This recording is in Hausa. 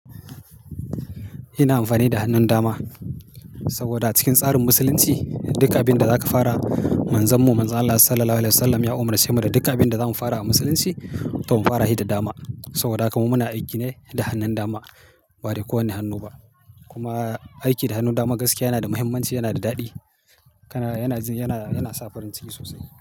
Ina amfani da hannun dama saboda cikin tsarin Musulunci duk abin da zaka fara manzanmu Manzon Allah Sallallahu Alaihi Wasallam ya umarce mu da duka abin da zamu fara a Musulunci to mu fara shi da dama. Saboda haka muna aiki ne da hannun dama ba da kowane hannu ba. Kuma aiki da hannun dama gaskiya yana da muhimmanci, yana da daɗi kana yana sa farin ciki sosai.